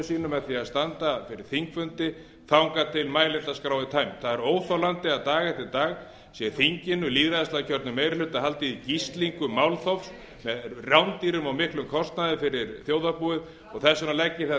sínu með því að standa fyrir þingfundi þangað til mælendaskrá er tæmd það er óþolandi að dag eftir dag sé þinginu lýðræðislega kjörnum meiri hluta haldið í gíslingu málþófs með rándýrum og miklum kostnaði fyrir þjóðarbúið og þess vegna legg ég